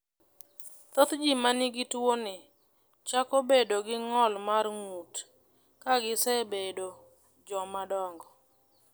Thoth ji ma nigi tuwoni chako bedo gi ng’ol mar ng’ut (myopathy) ka gisebedo jomadongo.